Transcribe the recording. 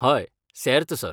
हय, सेर्त, सर.